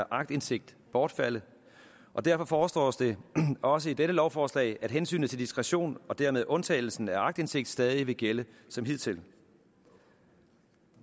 aktindsigt bortfalde og derfor foreslås det også i dette lovforslag at hensynet til diskretion og dermed undtagelsen af aktindsigt stadig vil gælde som hidtil